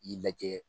I lajɛ